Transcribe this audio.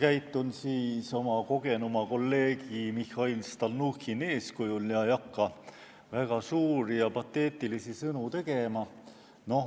Ma käitun siis oma kogenuma kolleegi Mihhail Stalnuhhini eeskujul ega hakka väga suuri ja pateetilisi sõnu tegema.